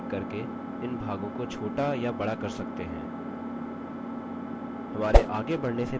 हमारे आगे बढ़ने से पहले यहाँ report डिजाइन window का screenshot है